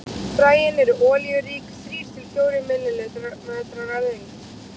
Fræin eru olíurík, þrír til fjórir millimetrar að lengd.